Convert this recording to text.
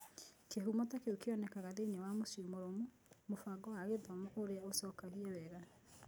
Kĩhumo ta kĩu kĩonekaga thĩinĩ wa mũciĩ mũrũmu, mũbango wa gĩthomo ũrĩa ũcokagia wega.